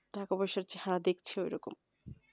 টাকা পয়সা যা দেখছ ঐ রকমই